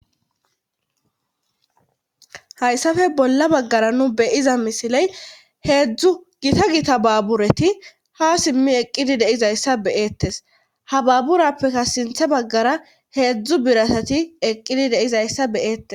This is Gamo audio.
hayssafe bolla baggara nu be'iza misiley heedzdzu gita gita baabureti ha simmi eqqidi de'izayssa be'ettes ha baaburappeka sinthe baggara heedzdzu biratati eqqidi deizayssa be'eettes